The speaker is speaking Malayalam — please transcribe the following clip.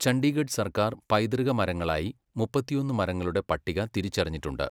ചണ്ഡീഗഡ് സർക്കാർ പൈതൃക മരങ്ങളായി മുപ്പത്തിയൊന്ന് മരങ്ങളുടെ പട്ടിക തിരിച്ചറിഞ്ഞിട്ടുണ്ട്.